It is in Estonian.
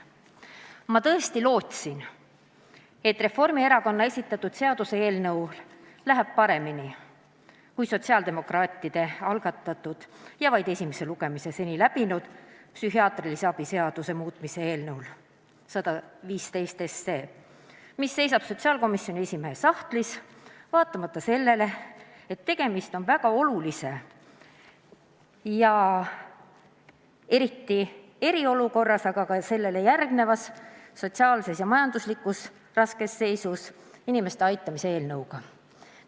Ma tõesti lootsin, et Reformierakonna esitatud seaduseelnõul läheb paremini kui sotsiaaldemokraatide algatatud ja seni vaid esimese lugemise läbinud psühhiaatrilise abi seaduse muutmise seaduse eelnõul 115, mis seisab sotsiaalkomisjoni esimehe sahtlis, vaatamata sellele, et tegemist on väga olulise, eriti eriolukorras, aga ka sellele järgnevas sotsiaalselt ja majanduslikult raskes seisus inimeste aitamise eelnõuga.